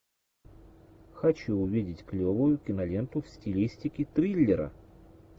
хочу увидеть клевую киноленту в стилистике триллера